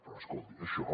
però escolti això